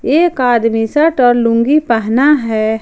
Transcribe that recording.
एक आदमी शर्ट और लुंगी पहना है।